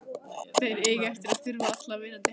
Þeir eiga eftir að þurfa allar vinnandi hendur.